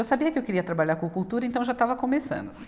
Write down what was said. Eu sabia que eu queria trabalhar com cultura, então eu já estava começando.